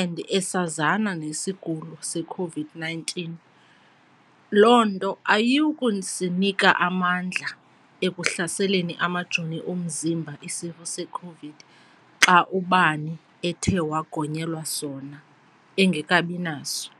and esazana nesigulo seCOVID-nineteen. Loo nto ayiyi ukusinika amandla ekuhlaseleni amajoni omzimba isifo seCOVID xa ubani ethe wagonyelwa sona engekabi naso.